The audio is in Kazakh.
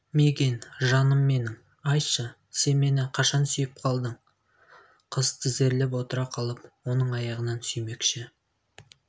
мигэн жаным менің айтшы сен мені қашан сүйіп қалдың қыз тізерлеп отыра қалып оның аяғынан сүймекші